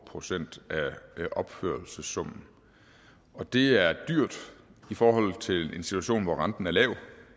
procent af opførelsessummen og det er dyrt i forhold til en situation hvor renten er lav